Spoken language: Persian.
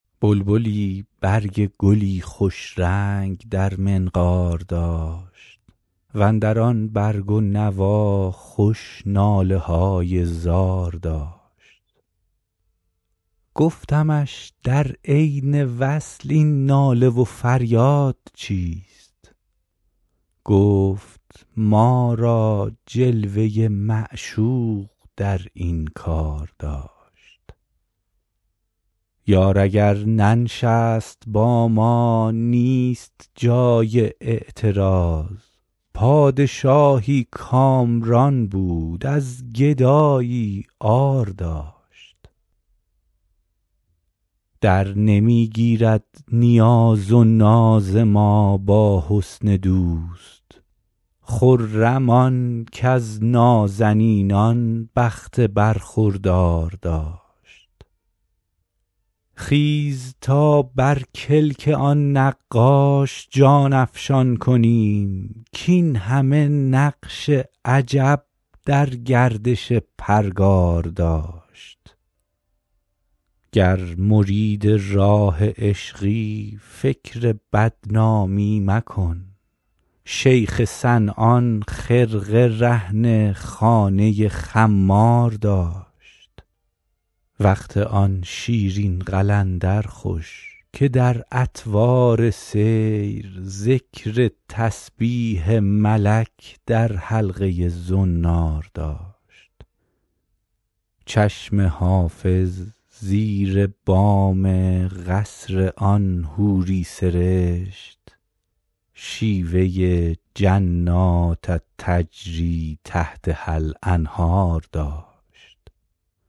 بلبلی برگ گلی خوش رنگ در منقار داشت و اندر آن برگ و نوا خوش ناله های زار داشت گفتمش در عین وصل این ناله و فریاد چیست گفت ما را جلوه ی معشوق در این کار داشت یار اگر ننشست با ما نیست جای اعتراض پادشاهی کامران بود از گدایی عار داشت درنمی گیرد نیاز و ناز ما با حسن دوست خرم آن کز نازنینان بخت برخوردار داشت خیز تا بر کلک آن نقاش جان افشان کنیم کاین همه نقش عجب در گردش پرگار داشت گر مرید راه عشقی فکر بدنامی مکن شیخ صنعان خرقه رهن خانه خمار داشت وقت آن شیرین قلندر خوش که در اطوار سیر ذکر تسبیح ملک در حلقه ی زنار داشت چشم حافظ زیر بام قصر آن حوری سرشت شیوه ی جنات تجری تحتها الانهار داشت